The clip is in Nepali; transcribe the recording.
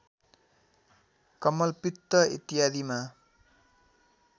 कमलपित्त इत्यादिमा